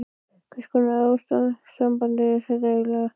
Hvers konar ástarsamband er þetta eiginlega?